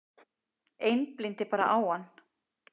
Einblíndi bara á hann.